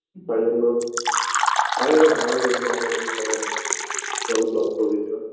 তাই জন্য আগে একবার ঝামেলা হয়েছিল আমাদের মধ্যে তখন ওকে block করে দিয়েছিলাম